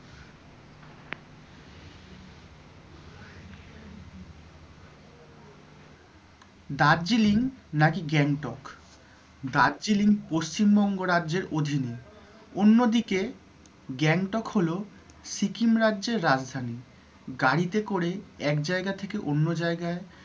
দার্জিলিং নাকি গ্যাংটক দার্জিলিং পশ্চিমবঙ্গ রাজ্যের অধীনে অন্যদিকে গ্যাংটক লহো সিকিম রাজ্যের রাজধানী গাড়িতে করে এক জায়গা থেকে অন্য জায়গায়